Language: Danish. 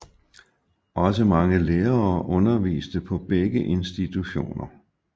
Også mange lærere underviste på begge institutioner